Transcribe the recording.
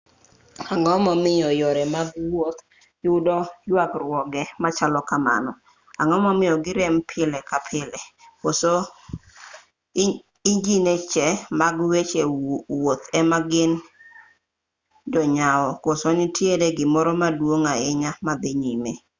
ang'o momiyo yore mag wuoth yudo yuagruoge machalo kamago ang'o momiyo girem pile ka pile koso injiniche mag weche wuoth ema gin jonyaw koso nitiere gimoro maduong' ahinya madhi nyime